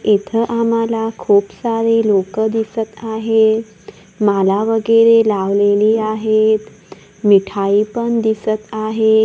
इथं आम्हाला खूप सारी लोकं दिसत आहेत माला वगैरे लावलेली आहेत मिठाई पण दिसत आहे.